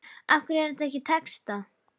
Af hverju er þetta ekki textað?